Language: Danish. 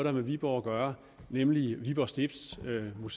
har med viborg at gøre nemlig viborg stiftsmuseum og